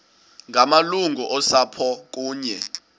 ngamalungu osapho kunye